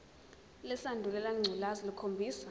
lesandulela ngculazi lukhombisa